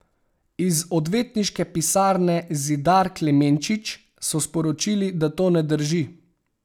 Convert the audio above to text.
Iz odvetniške pisarne Zidar Klemenčič so sporočili, da to ne drži.